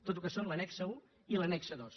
tot el que són l’annex un i l’annex dos